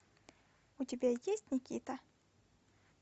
у тебя есть никита